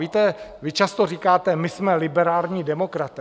Víte, vy často říkáte: My jsme liberální demokraté.